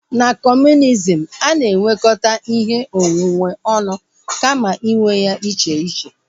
Na kọmunizm, a na-enwekọta ihe onwunwe ọnụ kama inwe ya iche iche